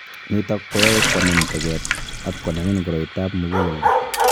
Nitok koyae kwamin tag'et anan konamin koroitap mug�leldo